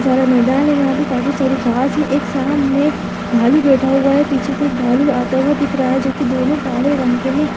इतना सारा मैदान है यहाँ पे। काफी सारी घास है। एक सामने भालू बैठा हुआ है पीछे से एक भालू आता हुआ दिख रहा है जो की दोनों काले रंग के हैं।